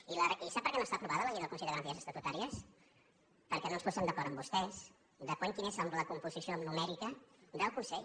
i sap per què no està aprovada la llei del consell de garanties estatutàries perquè no ens podem d’acord amb vostès de quina és la composició numèrica del consell